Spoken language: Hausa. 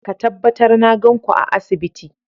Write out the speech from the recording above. Ka tabbatar na gan ku a asibiti!